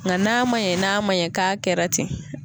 Nka n'a man ɲɛ n'a man ɲɛ k'a kɛra ten.